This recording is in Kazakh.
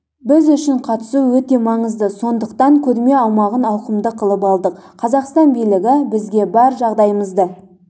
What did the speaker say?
біз үшін қатысу өте маңызды сондықтан көрме аумағын ауқымды қылып алдық қазақстан билігі бізге бар жағдайымызды